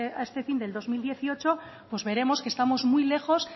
a este fin del dos mil dieciocho pues veremos que estamos muy lejos